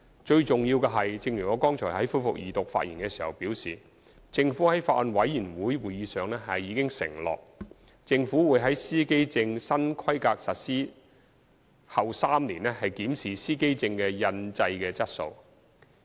最重要的是，正如我剛才就恢復二讀辯論發言時表示，政府在法案委員會會議上已承諾，政府會於司機證新規格實施後3年檢視司機證的印製質素。